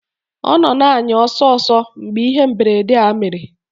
Ọ nọ na-anya ọsọ ọsọ mgbe ihe mberede a mere